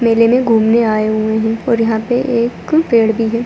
मेले में घूमने आए हुए हैं और यहाँ पर एक पेड़ भी है।